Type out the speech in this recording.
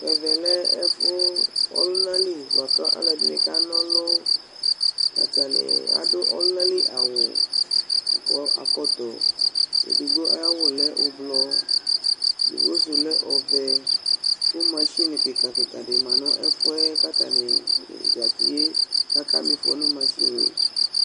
Ɛvɛ lɛ ɛfʋ, ɔlʋna li, bʋa kʋ ɔlɔdɩnɩ kana ɔlʋ, atanɩ adʋ ɔlʋna li awʋ, kʋ akɔ ɛkɔtɔ, edigbo ayʋ awʋ lɛ ʋblɔ, edigbo sʋ lɛ ɔvɛ, kʋ masini kɩka-kɩka dɩ ma nʋ ɛfʋ yɛ kʋ atanɩ zati yɛ, kʋ akama ɩfɔ nʋ masini yɛ